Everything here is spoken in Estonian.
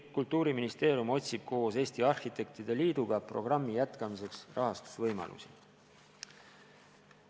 Kultuuriministeerium otsib koos Eesti Arhitektide Liiduga programmi jätkamiseks rahastusvõimalusi.